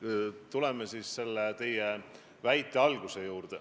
Tuleme siis teie jutu alguse juurde.